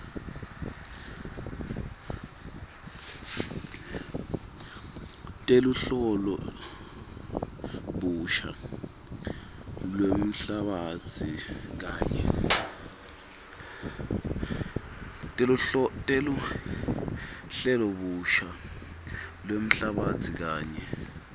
teluhlelobusha lwemhlabatsi kanye